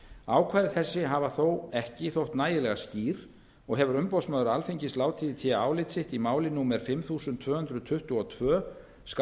ákvæði þessi hafa þó ekki þótt nægilega skýr og hefur umboðsmaður alþingis látið í té álit sitt í máli númer fimm þúsund tvö hundruð tuttugu og tvö tvö